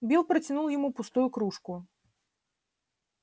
билл протянул ему пустую кружку